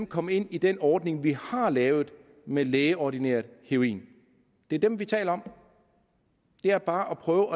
komme ind i den ordning vi har lavet med lægeordineret heroin det er dem vi taler om det er bare at prøve